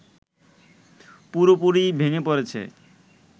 পুরোপুরিই ভেঙে পড়েছে